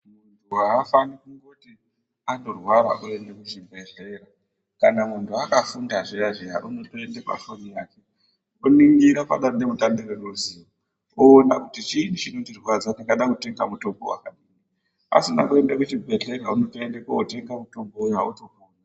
Muntu hafaniri kungoti angorwara voende kuchibhedhlera. Kana muntu akafunda zviya-zviya unotoende pafoni yake, oningira padande mutande reruzivo oona kuti chii chinondirwadza ndingade kutenga mutombo vakadai. Asina kuende kuchibhedhlera unotoende kotenge mutombo votopona.